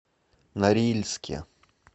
норильске